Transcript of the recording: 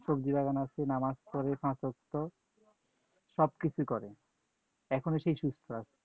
সবজি বাগান আছে, নামাজ পড়ে পাচ ওয়াক্ত । সব কিছুই করে, এখনও সে সুস্থ আছে